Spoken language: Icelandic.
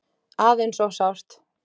Aðeins of sárt.